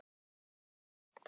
Ég er létt.